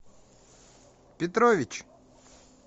петрович